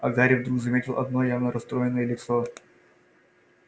а гарри вдруг заметил одно явно расстроенное лицо